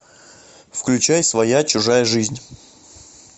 включай своя чужая жизнь